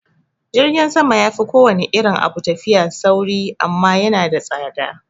Jirgin sama yafi kowane irin abun tafiya sauri amma yana da tsada